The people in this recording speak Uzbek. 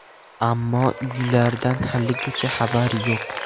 Ammo uylardan haligacha xabar yo‘q.